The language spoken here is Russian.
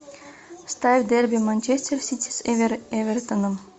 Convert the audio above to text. ставь дерби манчестер сити с эвертоном